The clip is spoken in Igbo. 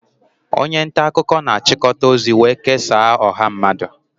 Onye nta akụkọ na-achịkọta ozi wee kesaa ọha mmadụ